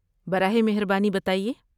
براہ مہربانی بتائیے۔